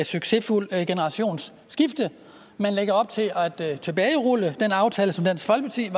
succesfuldt generationsskifte man lægger op til at tilbagerulle den aftale som dansk folkeparti